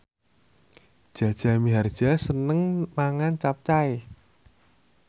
Jaja Mihardja seneng mangan capcay